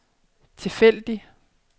tilfældig